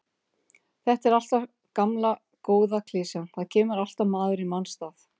Þetta er alltaf gamla góða klisjan, það kemur alltaf maður í manns stað.